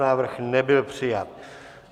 Návrh nebyl přijat.